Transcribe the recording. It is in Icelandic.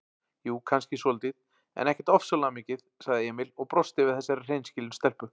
Jú, kannski svolítið, en ekkert ofsalega mikið, sagði Emil og brosti við þessari hreinskilnu stelpu.